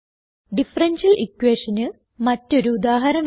differential equationന് മറ്റൊരു ഉദാഹരണം